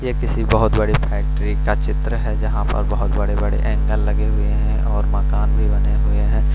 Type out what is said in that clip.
ये किसी बहोत बड़ी फैक्ट्री का चित्र है जहां पर बहोत बड़े बड़े एंगल लगे हुए है और मकान भी बने हुए है।